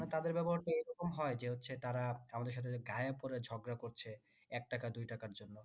মানে তাদের ব্যবহারটা এরকম হয় যে হচ্ছে তারা আমাদের সাথে গায়ে পরে ঝগড়া করছে একটাকা দুইটাকার জন্য